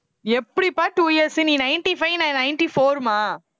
எப்படிப்பா two years நீ ninety five நான் ninety four மா